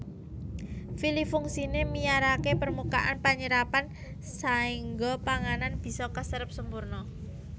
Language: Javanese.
Vili fungsiné miyaraké permukaan panyerepan saéngga panganan bisa kaserep sampurna